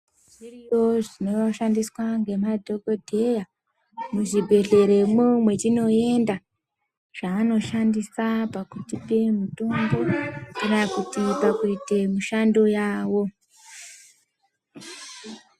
Zviriyo zvinoshandiswa ngemadhokodheya muzvibhehleremwo mwetinoenda zvaanoshandisa pakutipe mutombo kana kuti pakuite mushandando yawo.